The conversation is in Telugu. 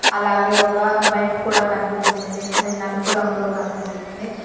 అలాగే ఒక బైక్ కూడా కనిపిస్తుంది అది నలుపు రంగులో కనిపిస్తుంది.